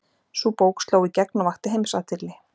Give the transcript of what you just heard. Sú bók sló í gegn og vakti heimsathygli.